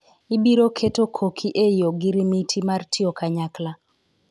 ibiro keto koki e ogoromiti mar tiyo kanyakla